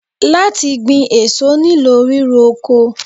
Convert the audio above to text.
Láti gbin èso nílò ríro oko.